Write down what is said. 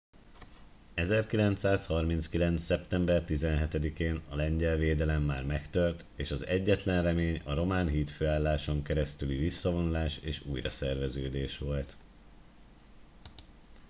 1939. szeptember 17 én a lengyel védelem már megtört és az egyetlen remény a román hídfőálláson keresztüli visszavonulás és újraszerveződés volt